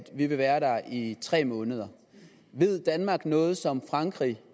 vi vil være der i tre måneder ved danmark noget som frankrig